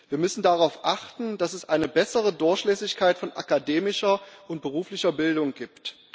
Wir müssen darauf achten, dass es eine bessere Durchlässigkeit von akademischer und beruflicher Bildung gibt.